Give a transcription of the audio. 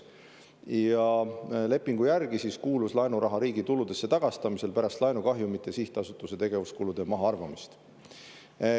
Ja lepingu järgi kuulus laenuraha riigituludesse tagastamisele pärast laenukahjumite ja sihtasutuse tegevuskulude mahaarvamist.